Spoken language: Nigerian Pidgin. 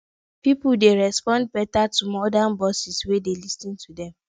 pipo dey respond better to modern bosses wey dey lis ten to dem